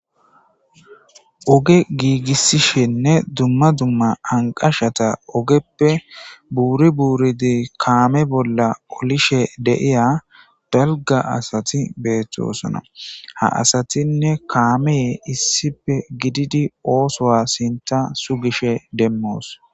oge giigissishenne dumma dumma anqashata ogeppe buuri buuridi kaame bolla olishe deiya dalga asati beethtosona ha asatinne kaamee issipe gididi oosoa sinta sugishe demmoos